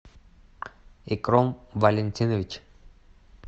икром валентинович